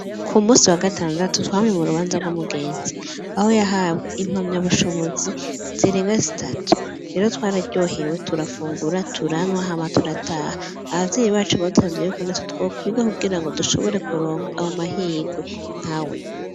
Ku musi wa gatandatu twame mu rubanza rw'umugenzi aho yahabwa impamya bushobozi zirenga zitatu riro twararyohewe turafungura turanwahama turataha abavyeyi bacu baduhavye yuko na tutwa kwiga kugira ngo dushobore kuronka abo mahirwe nka we.